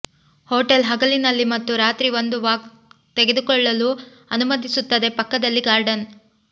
hotel ಹಗಲಿನಲ್ಲಿ ಮತ್ತು ರಾತ್ರಿ ಒಂದು ವಾಕ್ ತೆಗೆದುಕೊಳ್ಳಲು ಅನುಮತಿಸುತ್ತದೆ ಪಕ್ಕದಲ್ಲಿ ಗಾರ್ಡನ್